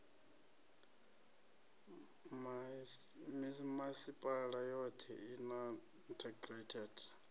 mimasipala yothe i na integrated